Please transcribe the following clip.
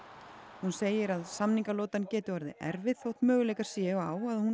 hún segir að samningalotan geti orðið erfið þótt möguleikar séu á að hún